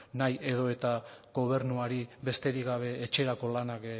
nahi edo eta gobernuari besterik gabe etxerako lanak